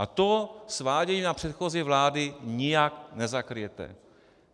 A to sváděním na předchozí vlády nijak nezakryjete.